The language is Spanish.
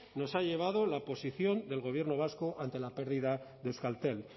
nos ha llevado la posición del gobierno vasco ante la pérdida de euskaltel